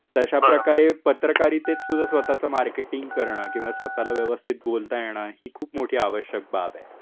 तर अश्याप्रकारे पत्रकारीतेत सुद्धा स्वतःच मार्केटिंग करण किंवा स्वतःला व्यवस्थित बोलता येण ही खूप मोठी आवश्यक बाब आहे.